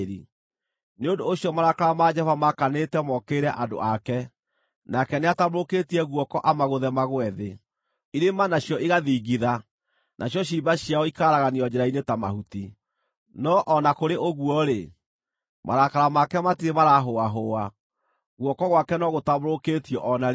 Nĩ ũndũ ũcio marakara ma Jehova maakanĩte mookĩrĩre andũ ake; nake nĩatambũrũkĩtie guoko amagũthe magũe thĩ. Irĩma nacio igathingitha, nacio ciimba ciao ikaaraganio njĩra-inĩ ta mahuti. No o na kũrĩ ũguo-rĩ, marakara make matirĩ maraahũahũa, guoko gwake no gũtambũrũkĩtio o na rĩu.